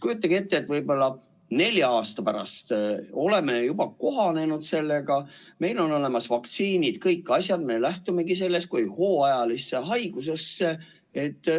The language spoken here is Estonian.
Kujutage ette, võib-olla nelja aasta pärast me oleme juba kohanenud sellega, meil on olemas vaktsiinid, kõik asjad, me suhtumegi sellesse kui hooajalisse haigusesse.